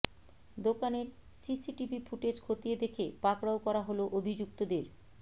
দোকানের CCTV footage খতিয়ে দেখে পাকড়াও করা হল অভিযুক্তদের